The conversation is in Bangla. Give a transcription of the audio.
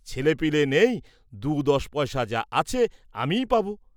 ছেলেপিলে নেই দু’ দশ পয়সা যা আছে আমিই পাব।